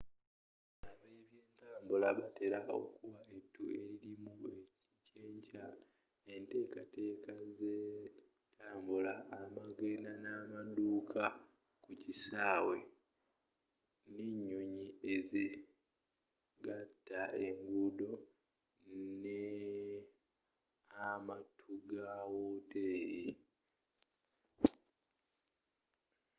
ab'ebyentabula batela okuwa ettu elilimu ekyenkya enteekateeka z'entabula amagenda n'amaddaku kisaawe oba n'enyonyi ezigatta engendo ne'amattu ga woteeri